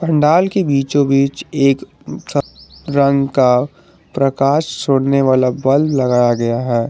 डाल के बीचो बीच एक रंग का प्रकाश छोड़ने वाला बल्ब लगाया गया है।